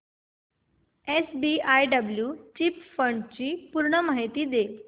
SBI blue chip fund ची पूर्ण माहिती दे